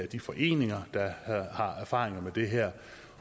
de foreninger der har erfaringer med det her